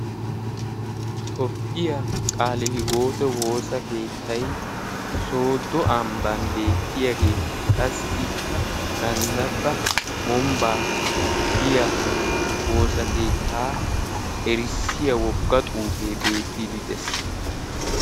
tophphiyaa qaale hiwoote woosa keettai soodo ambban beettiyaagee qassi ikka ganddabba wombbaa giya woosa keettaa erissiya wogga xuufee beettidi dees.